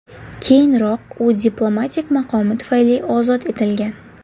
Keyinroq u diplomatik maqomi tufayli ozod etilgan.